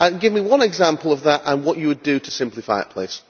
Can you give me one example of that and what you would do to simplify it please?